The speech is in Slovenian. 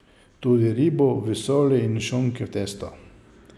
Tudi ribo v soli in šunko v testu.